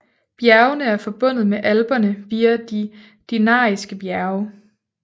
Bjergene er forbundet med Alperne via de Dinariske bjerge